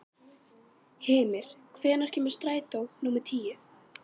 Hymir, hvenær kemur strætó númer tíu?